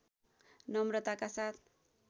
नम्रताका साथ